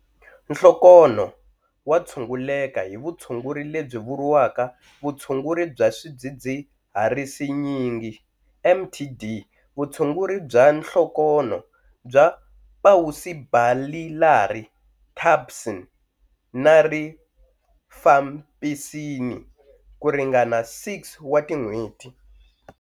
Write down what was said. Nhlokonho wa tshunguleka hi vutshunguri lebyi vuriwaka vutshunguri bya Swidzidziharisinyingi, MDT Vutshunguri bya nhlokonho ya pausibasillari dapsone na rifampisini ku ringana 6 wa tin'hweti.